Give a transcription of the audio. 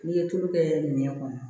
N'i ye tulu kɛ nɛn kɔnɔ